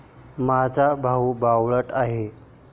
माझा भाऊ बावळट आहे.